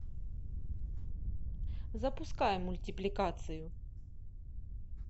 запускай мультипликацию